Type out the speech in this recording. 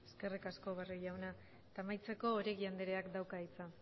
eskerrik asko barrio jauna amaitzeko oregi andreak dauka hitza